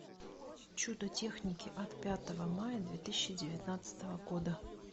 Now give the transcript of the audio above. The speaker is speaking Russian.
чудо техники от пятого мая две тысячи девятнадцатого года